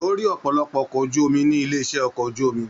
O rí ọpọlọpọ ọkọ̀ ojú omi nílé iṣẹ ọkọ̀ ojú omi.